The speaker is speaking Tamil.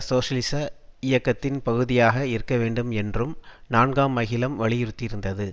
சோசியலிச இயக்கத்தின் பகுதியாக இருக்க வேண்டும் என்றும் நான்காம் அகிலம் வலியுறுத்தியிருந்தது